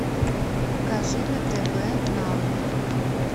покажи на тв нано